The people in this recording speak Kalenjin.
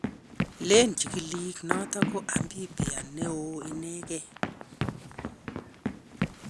Leen chikilik noto ko amphibia neoo inegei